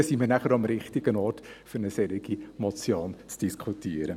Dann wären wir auch am richtigen Ort, um eine solche Motion zu diskutieren.